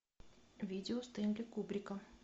видео стэнли кубрика